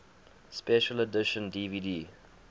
special edition dvd